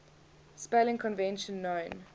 spelling convention known